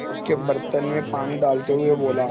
उसके बर्तन में पानी डालते हुए बोला